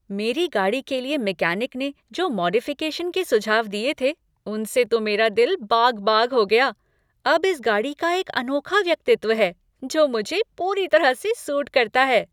मेरी गाड़ी के लिए मैकेनिक ने जो मॉडिफ़िकेशन के सुझाव दिए थे, उनसे तो मेरा दिल बाग़ बाग़ हो गया। अब इस गाड़ी का एक अनोखा व्यक्तित्व है जो मुझे पूरी तरह से सूट करता है।